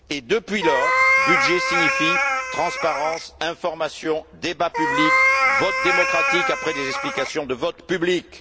Depuis lors, budget signifie transparence, information, débat public, vote démocratique après des explications de vote publiques.